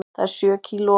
Það er sjö kílóa munur.